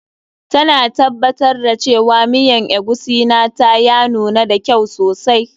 Ta na tabbatar da cewa miyan eguisi na ta ya nuna da kyau sosai.